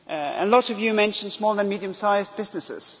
A lot of you mentioned small and medium sized businesses.